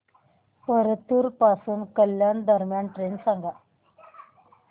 परतूर पासून कल्याण दरम्यान ट्रेन सांगा